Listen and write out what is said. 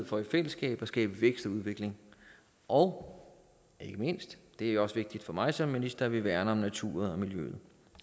for i fællesskab at skabe vækst og udvikling og ikke mindst det er også vigtigt for mig som minister værner om naturen